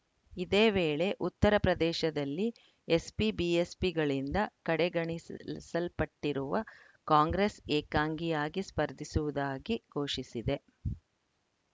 ಇದೇ ವೇಳೆ ಉತ್ತರ ಪ್ರದೇಶದಲ್ಲಿ ಎಸ್‌ಪಿಬಿಎಸ್‌ಪಿಗಳಿಂದ ಕಡೆಗಣಿಸಲ್ ಸಲ್ಪಟ್ಟಿರುವ ಕಾಂಗ್ರೆಸ್‌ ಏಕಾಂಗಿಯಾಗಿ ಸ್ಪರ್ಧಿಸುವುದಾಗಿ ಘೋಷಿಸಿದೆ